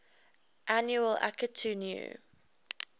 annual akitu new